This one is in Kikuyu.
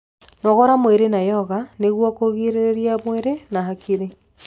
Nogora mwĩrĩ na yoga nĩguo kurungirirĩa mwĩrĩ na hakiri